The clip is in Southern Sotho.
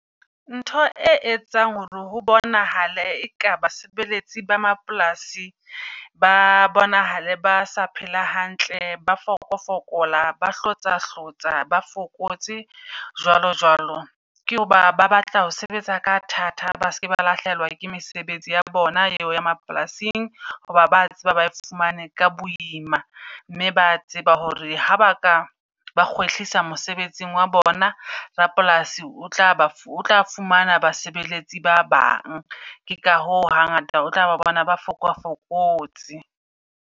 Ntho e etsang hore ho bonahale eka basebeletsi ba mapolasi ba bonahale ba sa phela hantle, ba fokofokola, ba hlotsa hlotsa, ba fokotse jwalo jwalo. Ke ho ba ba batla ho sebetsa ka thata, ba se ke ba lahlehelwa ke mesebetsi ya bona e o ya mapolasing. Hoba ba tseba ba e fumane ka boima, mme ba a tseba hore ha ba ka ba kgwehlisa mosebetsing wa bona, rapolasi o tla ba o tla fumana basebeletsi ba bang. Ke ka hoo hangata o tla ba bona ba fokafokotse.